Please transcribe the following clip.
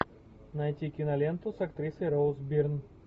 найти киноленту с актрисой роуз бирн